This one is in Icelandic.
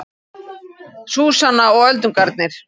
Súsanna og öldungarnir